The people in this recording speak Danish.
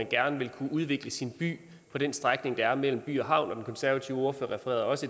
gerne vil kunne udvikle sin by på den strækning der er mellem by og havn den konservative ordfører refererede også